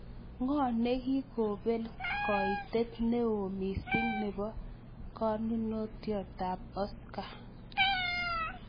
Ng'o ne ki kobel koitet ne oo miising' ne po konunotiotap Oscar